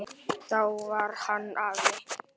Þá var hann afi.